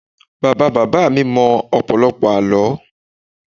Bàbá bàbá mi mọ ọ̀pọ̀lọpọ̀ àlọ́